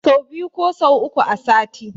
Sau biyu ko sau uku a sati